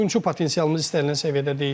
Oyunçu potensialımız istənilən səviyyədə deyil.